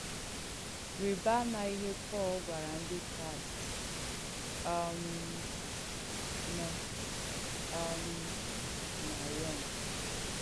Rị̀bà àmà ìhé Pọ̀l gwàrà Ndí Kràị̀st um nọ̀ um nà Rọ̀m.